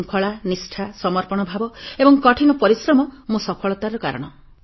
ମୋର ଶୃଙ୍ଖଳା ନିଷ୍ଠା ସମର୍ପଣ ଭାବ ଏବଂ କଠିନ ପରିଶ୍ରମ ମୋ ସଫଳତାର କାରଣ